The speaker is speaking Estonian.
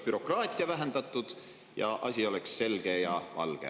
Oleks bürokraatia vähendatud ja asi oleks selge ja valge.